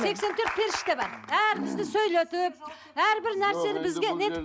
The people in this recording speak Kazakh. сексен төрт періште бар бәрімізді сөйлетіп әрбір нәрсені бізге не етіп